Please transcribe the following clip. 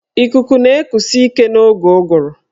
Ikuku na-ekusi ike n'oge ụgụrụ.